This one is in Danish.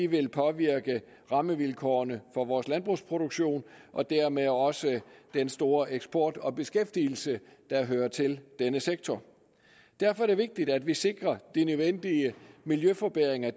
vil påvirke rammevilkårene for vores landbrugsproduktion og dermed også den store eksport og beskæftigelse der hører til denne sektor derfor er det vigtigt at vi sikrer at de nødvendige miljøforbedringer